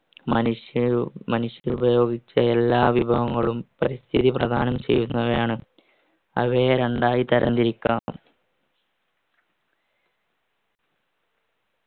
മനുഷ്യരുപയോഗിച്ച എല്ലാ വിഭവങ്ങളും പരിസ്ഥിതി പ്രധാനം ചെയ്യുന്നവയാണ് അവയെ രണ്ടായി തരം തിരിക്കാം